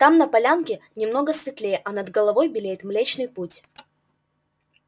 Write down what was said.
там на полянке немного светлее а над головой белеет млечный путь